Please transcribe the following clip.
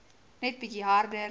net bietjie harder